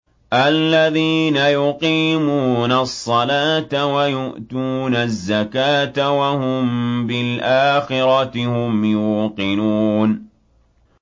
الَّذِينَ يُقِيمُونَ الصَّلَاةَ وَيُؤْتُونَ الزَّكَاةَ وَهُم بِالْآخِرَةِ هُمْ يُوقِنُونَ